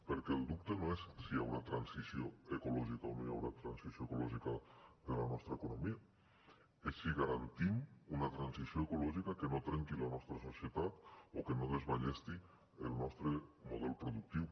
perquè el dubte no és si hi haurà transició ecològica o no hi haurà transició ecològica de la nostra economia és si garantim una transició ecològica que no trenqui la nostra societat o que no desballesti el nostre model productiu